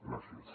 gràcies